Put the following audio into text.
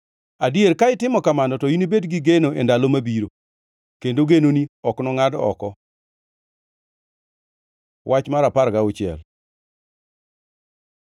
Adier, ka itimo kamano to inibed gi geno e ndalo mabiro, kendo genoni ok nongʼad oko. Wach mar apar gauchiel